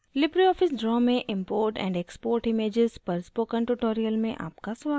Libre office draw में import and export images पर spoken tutorial में आपका स्वागत है